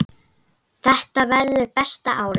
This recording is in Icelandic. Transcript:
Þetta verður besta árið.